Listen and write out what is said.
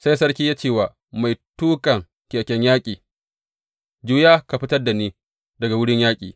Sai sarki ya ce wa mai tuƙan keken yaƙi, Juya ka fitar da ni daga wurin yaƙin.